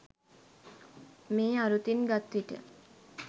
මේ අරුතින් ගත් විට